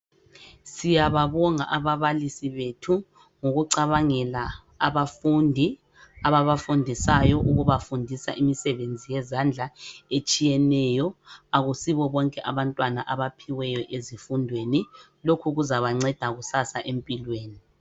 Siyababonga ababalisi bethu, ngokucabangela abafundi ababafundisayo ukubafundisa imisebenzi yezandla etshiyeneyo. Akusibo bonke abantwana abaphiweyo ezifundweni, lokhu kuzabanceda kusasa empilweni.